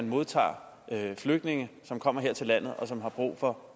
modtage flygtninge som kommer her til landet og som har brug for